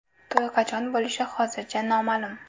To‘y qachon bo‘lishi hozircha noma’lum .